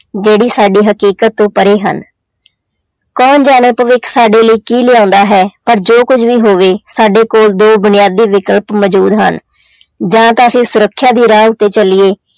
ਜਿਹੜੀ ਸਾਡੀ ਹਕੀਕਤ ਤੋਂ ਪਰੇ ਹਨ ਕੌਣ ਜਾਣੇ ਭਵਿੱਖ ਸਾਡੇ ਲਈ ਕੀ ਲਿਆਉਂਦਾ ਹੈ ਪਰ ਜੋ ਕੁੱਝ ਵੀ ਹੋਵੇ ਸਾਡੇ ਕੋਲ ਦੋ ਬੁਨਿਆਦੀ ਵਿਕਲਪ ਮੌਜੂਦ ਹਨ ਜਾਂ ਤਾਂ ਅਸੀਂ ਸੁਰੱਖਿਆ ਦੀ ਰਾਹ ਉੱਤੇ ਚੱਲੀਏ,